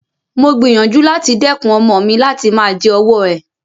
Mo gbìyànjú láti dẹ́kun ọmọ mi láti máa jẹ ọwọ́ ẹ̀.